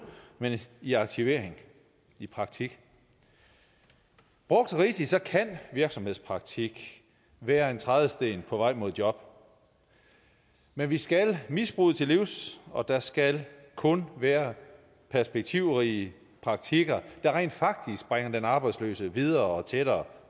men i aktivering i praktik brugt rigtigt kan virksomhedspraktik være en trædesten på vej mod et job men vi skal misbruget til livs og der skal kun være perspektivrige praktikker der rent faktisk bringer den arbejdsløse videre og tættere